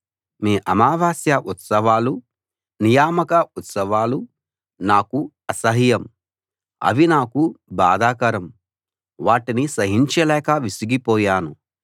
మీ అమావాస్య ఉత్సవాలు నియామక ఉత్సవాలు నాకు అసహ్యం అవి నాకు బాధాకరం వాటిని సహించలేక విసిగిపోయాను